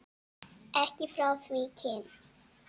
Ekki frá því kyn